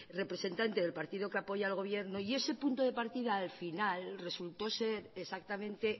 representante del partido que apoya al gobierno y ese punto de partida al final resultó ser exactamente